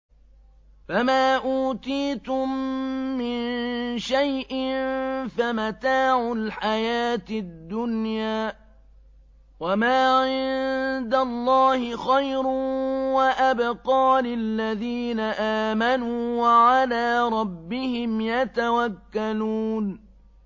فَمَا أُوتِيتُم مِّن شَيْءٍ فَمَتَاعُ الْحَيَاةِ الدُّنْيَا ۖ وَمَا عِندَ اللَّهِ خَيْرٌ وَأَبْقَىٰ لِلَّذِينَ آمَنُوا وَعَلَىٰ رَبِّهِمْ يَتَوَكَّلُونَ